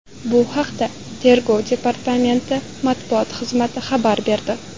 Bu haqda Tergov departamenti matbuot xizmati xabar berdi .